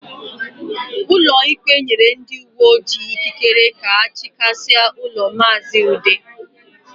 Ụlọikpe nyere ndị uwe ojii akwụkwọ ikikere ka ha chịghasịa ụlọ maazi Ude